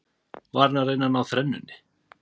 Var hann að reyna að ná þrennunni?